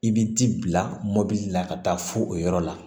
I bi t'i bila mɔbili la ka taa fo o yɔrɔ la